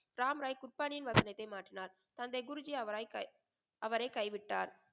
ராம் ராய் குட்பானின் வசனத்தை மாற்றினார். தந்தை குருஜி அவராய் அவரை கை விட்டார்.